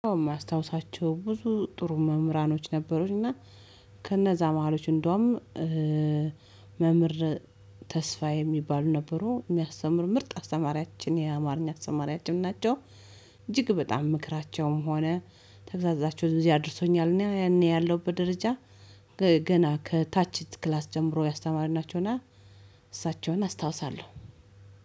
የማስታውሳቸው ብዙ ጥሩ መምህራኖች ነበሩኝ እና ከነዛ መሃሎች እንደውም ተስፋ የሚባሉ ነበሩ የሚያስተምር ምርጥ አስተማሪያችን የአማርኛ አስተማሪያችን ናቸው። እጅግ በጣም ምክራቸውም ሆነ ተግሳፃቸው እዚህ አድርሶኛል። እኔ ያኔ ያለውበት ደረጃ ገና ከታች ክላስ ጀምሮ ያስተማረኝናቸውና እሳቸውን አስታውሳለሁ።